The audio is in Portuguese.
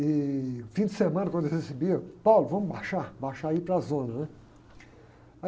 E, no fim de semana, quando eu recebia, vamos baixar, baixar é ir para a zona, né?